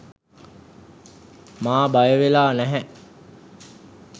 මා බයවෙලා නැහැ